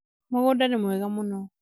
mũgũnda nĩ mwega mũno